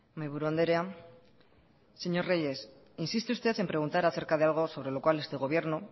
mahi buru andrea señor reyes insiste usted en preguntar acerca de algo sobre lo cual este gobierno